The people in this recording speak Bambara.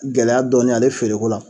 Gɛlɛya dɔɔnin ale feere ko la